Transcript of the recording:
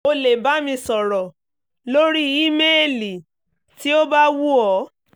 o lè bá mi sọ̀rọ̀ lórí ímeèlì tí o bá wù ọ́